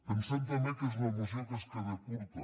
pensem també que és una moció que es queda curta